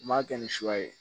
N m'a kɛ ni suba ye